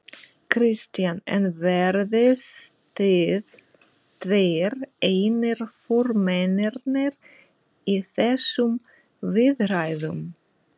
Kristján: En verðið þið tveir einir formennirnir í þessum viðræðum?